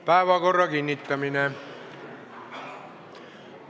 Päevakorra kinnitamine.